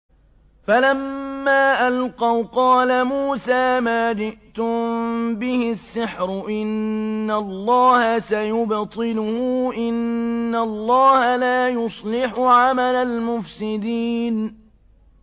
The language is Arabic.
فَلَمَّا أَلْقَوْا قَالَ مُوسَىٰ مَا جِئْتُم بِهِ السِّحْرُ ۖ إِنَّ اللَّهَ سَيُبْطِلُهُ ۖ إِنَّ اللَّهَ لَا يُصْلِحُ عَمَلَ الْمُفْسِدِينَ